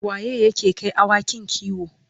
waye yake Kai awakin kiwo?